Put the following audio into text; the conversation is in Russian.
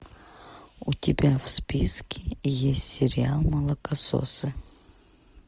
у тебя в списке есть сериал молокососы